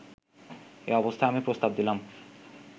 এ অবস্থায় আমি প্রস্তাব দিলাম